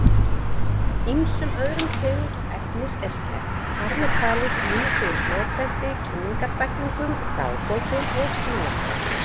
Ýmsum öðrum tegundum efnis er sleppt, þar með talið ýmislegu smáprenti, kynningarbæklingum, dagbókum og símaskrám.